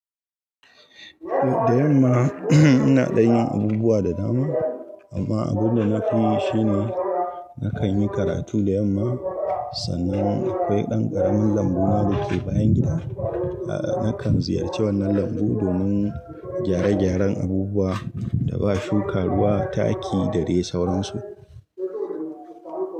Da yamma ina ɗan yin abubuwa da dama amma abun da na fi yi shi ne nakan yi karatu da yamma sannan akwai dan abun lambuna dake bayan gida. A'a nakan ziyarci wannan lambu domin gyare-gyaren abubuwa da ba shuka ruwa, taki da dai sauransu.